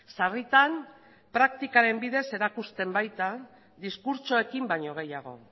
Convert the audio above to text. sarritan praktikaren bidez erakusten baita diskurtsoekin baino gehiago